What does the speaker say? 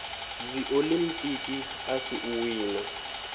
dziolimpiki a si u wina